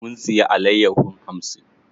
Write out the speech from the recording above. Mun siya alayyahon hamsin.